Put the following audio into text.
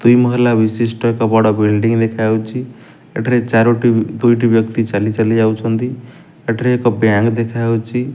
ଦୁଇ ମହଲା ବିଶିଷ୍ଟ ଏକ ବଡ ବିଲଡିଂ ଦେଖାଯାଉଚି ଏଠାରେ ଚାରୋଟି ଦୁଇଟି ବ୍ୟକ୍ତି ଚାଲିଚାଲି ଯାଉଛନ୍ତି ଏଠାରେ ଏକ ବ୍ୟାଙ୍କ୍ ଦେଖାଯାଉଚି।